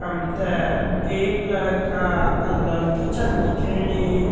हम तें एक लड़का अर लड़की छन दिखेणी।